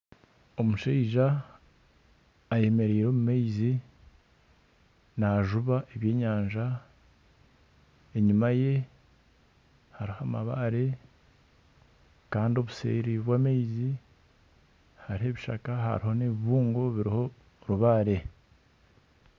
Omushaija ayemereire omu maizi najuba ebyenyanja. Enyima ye hariho amabaare kandi obuseeri bw'amaizi hariho ebishaka hariho n'ebibungo biriho orubaare.